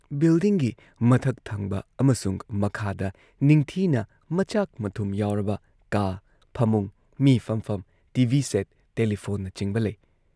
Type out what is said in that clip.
ꯕꯤꯜꯗꯤꯡꯒꯤ ꯃꯊꯛ ꯊꯪꯕ ꯑꯃꯁꯨꯡ ꯃꯈꯥꯗ ꯅꯤꯡꯊꯤꯅ ꯃꯆꯥꯛ ꯃꯊꯨꯝ ꯌꯥꯎꯔꯕ ꯀꯥ ꯐꯃꯨꯡ, ꯃꯤ ꯐꯝꯐꯝ, ꯇꯤ ꯚꯤ ꯁꯦꯠ, ꯇꯦꯂꯤꯐꯣꯟꯅꯆꯤꯡꯕ ꯂꯩ ꯫